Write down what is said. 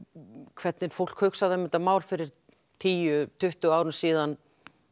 hvernig fólk hugsaði um þetta mál fyrir tíu tuttugu árum síðan